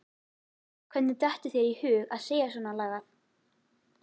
Hvernig dettur þér í hug að segja svonalagað!